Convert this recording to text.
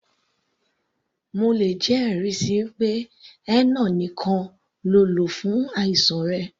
Mo lè jẹ́ ẹ̀rí síi pé henna nìkan ló lò fún àìsàn rẹ̀.